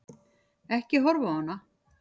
Ekki horfa á hana!